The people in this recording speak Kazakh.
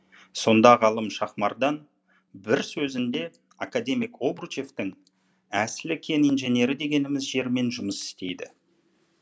сонда ғалым шахмардан бір сөзінде академик обручевтің әсілі кен инженері дегеніміз жермен жұмыс істейді